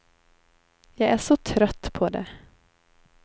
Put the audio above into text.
Jag är så trött på det.